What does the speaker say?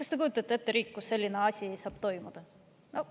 Kas te kujutate ette riiki, kus selline asi saab toimuda?